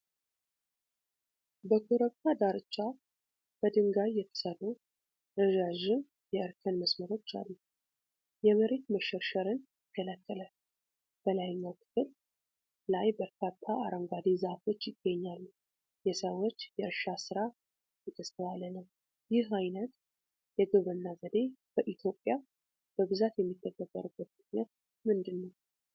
በኮረብታ ዳርቻ በድንጋይ የተሰሩ ረዣዥም የእርከን መስመሮች አሉ። የመሬት መሸርሸርን ይከላከላል። በላይኛው ክፍል ላይ በርካታ አረንጓዴ ዛፎች ይገኛሉ። የሰዎች የእርሻ ሥራ የተስተዋለ ነው። ይህ ዓይነት የግብርና ዘዴ በኢትዮጵያ በብዛት የሚተገበርበት ምክንያት ምንድን ነው?